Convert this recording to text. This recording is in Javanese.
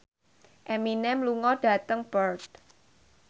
Eminem lunga dhateng Perth